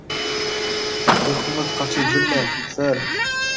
ұйқыңыз қашып жүр ме сэр